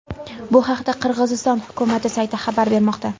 Bu haqda Qirg‘iziston hukumati sayti xabar bermoqda .